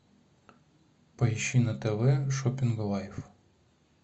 поищи на тв шоппинг лайф